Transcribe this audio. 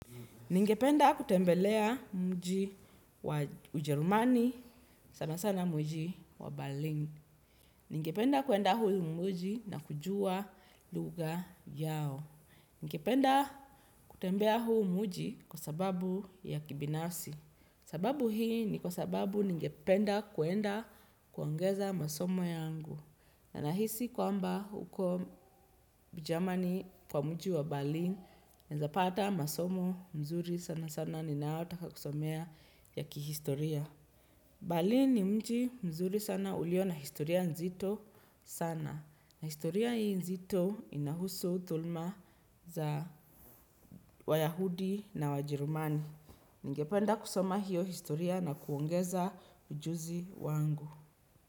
Ningependa kutembelea mji wa ujerumani, sana sana mji wa Berlin. Ningependa kuenda huu mji na kujua lugha yao. Ningependa kutembea huu mji kwa sababu ya kibinafsi. Sababu hii ni kwa sababu ningependa kuenda kuongeza masomo yangu. Na nahisi kwamba huko Germany kwa mji wa berlin naeza pata masomo mzuri sana sana ninaotaka kusomea ya kihistoria. Berlin ni mji mzuri sana ulio na historia nzito sana. Na historia hii nzito inahusu thuluma za wayahudi na wajerumani. Ningependa kusoma hiyo historia na kuongeza ujuzi wangu.